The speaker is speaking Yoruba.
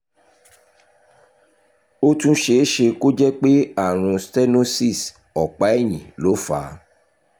ó tún ṣe é ṣe kó jẹ́ pé àrùn stenosis ọ̀pá ẹ̀yìn ló fà á